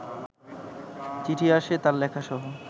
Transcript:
চিঠি আসে তাঁর লেখাসহ